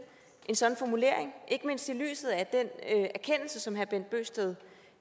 en sådan formulering ikke mindst i lyset af den erkendelse som herre bent bøgsted